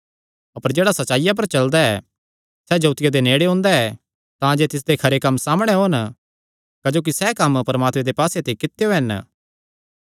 अपर जेह्ड़ा सच्चाईया पर चलदा ऐ सैह़ जोतिया दे नेड़े ओंदा ऐ तांजे तिसदे खरे कम्म सामणै ओन क्जोकि सैह़ कम्म परमात्मे दे पास्से ते कित्यो हन